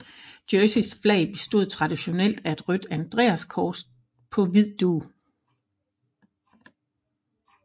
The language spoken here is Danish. Jerseys flag bestod traditionelt af et rødt andreaskors på hvid dug